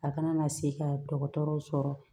A kana na se ka dɔgɔtɔrɔw sɔrɔ